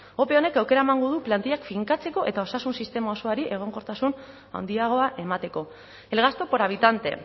ope honek aukera emango du plantillak finkatzeko eta osasun sistema osoari egonkortasun handiagoa emateko el gasto por habitante